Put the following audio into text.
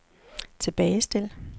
tilbagestil